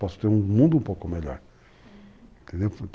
Posso ter um mundo um pouco melhor. Uhum.